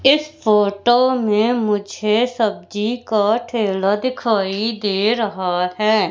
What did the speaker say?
इस फोटो में मुझे सब्जी का ठेला दिखाई दे रहा है।